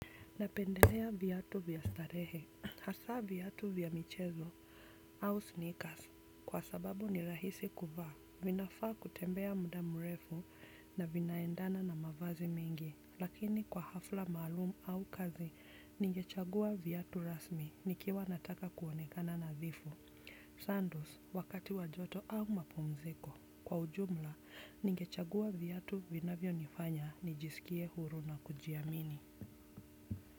Napendelea viatu vya starehe, hasa viatu vya michezo, au sneakers, kwa sababu ni rahisi kuvaa, vinafaa kutembea muda mrefu na vinaendana na mavazi mingi, lakini kwa hafla maalumu au kazi, ningechagua viatu rasmi, nikiwa nataka kuonekana nadhifu. Sandols wakati wa jua tu au mapumziko. Kwa ujumla ningechagua viatu vinavyonifanya nijisikie huru na kujiamini.